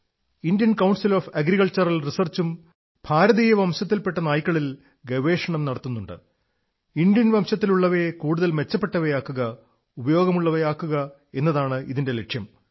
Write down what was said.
Indian council of agricultural റിസർച്ചും ഭാരതീയ വംശത്തിൽ പെട്ട നായ്ക്കളിൽ ഗവേഷണം നടത്തുന്നുണ്ട് ഇന്ത്യൻ വംശത്തിലുള്ളവയെ കൂടുതൽ മെച്ചപ്പെട്ടവയാക്കുക ഉപയോഗമുള്ളവയാക്കുക എന്നതാണ് ഇതിന്റെ ലക്ഷ്യം